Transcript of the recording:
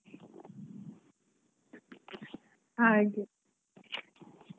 Dosa .